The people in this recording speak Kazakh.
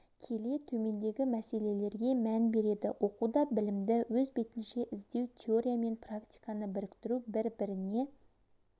келе төмендегі мәселелерге мән береді оқуда білімді өз бетінше іздеу теория мен практиканы біріктіру бір-біріне